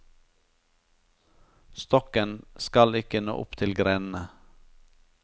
Stokken skal ikke nå opp til grenene.